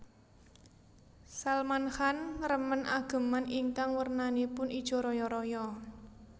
Salman Khan remen ageman ingkang wernanipun ijo royo royo